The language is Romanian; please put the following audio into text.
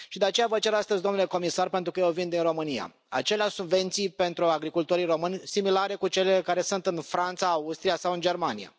Și de aceea vă cer astăzi, domnule comisar, pentru că eu vin din România, aceleași subvenții pentru agricultorii români, similare cu cele care sunt în Franța, Austria sau în Germania.